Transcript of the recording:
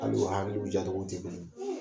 Hali u hakiliw ja togo tɛ kelen ye